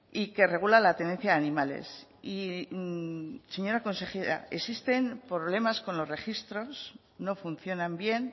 y que regula la tenencia de animales y señora consejera existen problemas con los registros no funcionan bien